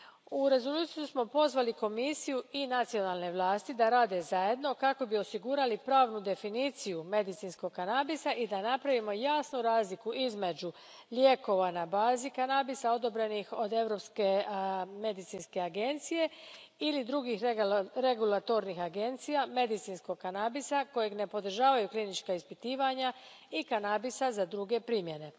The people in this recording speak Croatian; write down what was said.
U rezoluciju smo pozvali Komisiju i nacionalne vlasti da rade zajedno kako bi osigurali pravnu definiciju medicinskog kanabisa i da napravimo jasnu razliku između lijekova na bazi kanabisa odobrenih od Europske medicinske agencije ili drugih regulatornih agencija, medicinskog kanabisa kojeg ne podržavaju klinička ispitivanja i kanabisa za druge primjene.